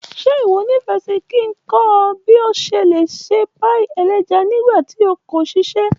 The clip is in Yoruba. Ṣe iwọ nifẹ si ki n kọ ọ bi o ṣe le se páì-ẹlẹ́ja nígbà tí o kò ṣiṣẹ́?